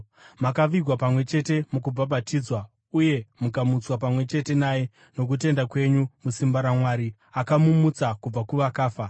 makavigwa pamwe chete mukubhabhatidzwa uye mukamutswa pamwe chete naye nokutenda kwenyu musimba raMwari, akamumutsa kubva kuvakafa.